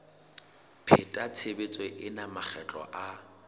pheta tshebetso ena makgetlo a